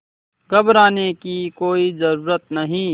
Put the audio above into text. घबराने की कोई ज़रूरत नहीं